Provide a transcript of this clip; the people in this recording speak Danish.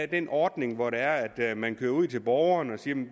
den ordning hvor det er at man kører ud til borgeren og siger at